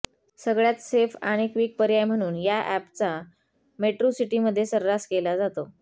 सगळ्यात सेफ आणि क्विक पर्याय म्हणून या अॅपचा मेट्रोसिटीमध्ये सर्रास केला जातो